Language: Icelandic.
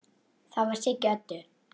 Það var Siggi Öddu.